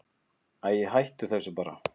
Æi, hættu þessu bara.